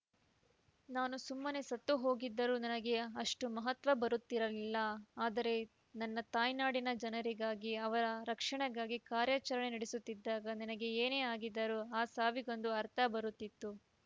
ನಾನು ಸುಮ್ಮನೆ ಸತ್ತು ಹೋಗಿದ್ದರೂ ನನಗೆ ಅಷ್ಟುಮಹತ್ವ ಬರುತ್ತಿರಲಿಲ್ಲ ಆದರೆ ನನ್ನ ತಾಯ್ನಾಡಿನ ಜನರಿಗಾಗಿ ಅವರ ರಕ್ಷಣೆಗಾಗಿ ಕಾರ್ಯಾಚರಣೆ ನಡೆಸುತ್ತಿದ್ದಾಗ ನನಗೆ ಏನೇ ಆಗಿದ್ದರೂ ಆ ಸಾವಿಗೊಂದು ಅರ್ಥ ಬರುತ್ತಿತ್ತು